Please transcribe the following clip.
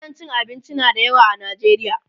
gidan cin abinci na da yawa a Najeriya